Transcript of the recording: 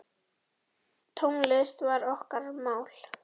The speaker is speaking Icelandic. Tónlist var okkar mál.